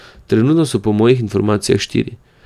Trenutno so po mojih informacijah štiri.